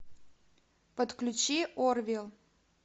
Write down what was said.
подключи орвилл